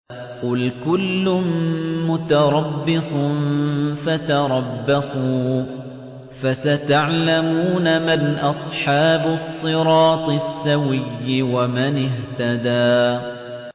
قُلْ كُلٌّ مُّتَرَبِّصٌ فَتَرَبَّصُوا ۖ فَسَتَعْلَمُونَ مَنْ أَصْحَابُ الصِّرَاطِ السَّوِيِّ وَمَنِ اهْتَدَىٰ